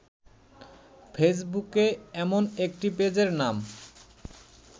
ফেসবুকে এমন একটি পেজের নাম